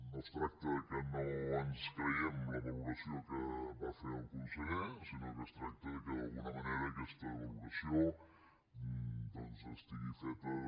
no es tracta que no ens creguem la valoració que va fer el conseller sinó que es tracta que d’alguna manera aquesta valoració doncs estigui feta de